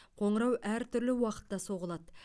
қоңырау әртүрлі уақытта соғылады